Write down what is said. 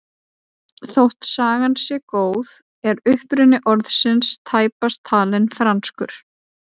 Þótt sagan sé góð er uppruni orðsins tæpast talinn franskur.